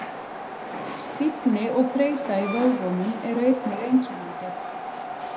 Stífni og þreyta í vöðvunum eru einnig einkennandi.